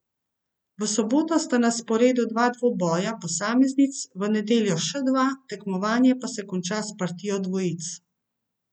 V soboto sta na sporedu dva dvoboja posameznic, v nedeljo še dva, tekmovanje pa se konča s partijo dvojic.